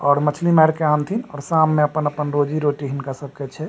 और मछली मार के आनथिन और शाम में अपन-अपन रोजी-रोटी हिन्का सब के छै।